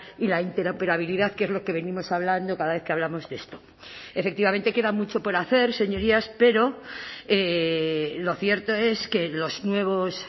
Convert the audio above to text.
y la interoperabilidad que es lo que venimos hablando cada vez que hablamos de esto efectivamente queda mucho por hacer señorías pero lo cierto es que los nuevos